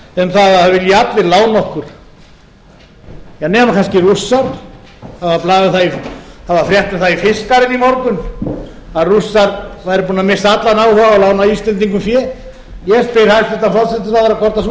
um að það vilji allir lána okkur nema kannski rússar það var frétt um það í fiskaren í morgun að rússar væru búnir að missa allan áhuga á að lána íslendingum fé ég spyr hæstvirtur forsætisráðherra hvort